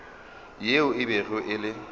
yeo e bego e le